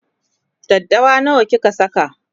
daddawa nawa kika Saka?